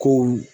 Kow